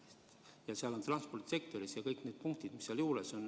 See hõlmab transpordisektorit ja kõiki neid muid punkte.